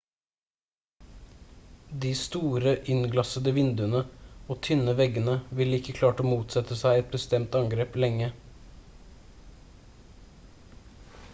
de store innglassede vinduene og tynne veggene ville ikke klart å motsette seg et bestemt angrep lenge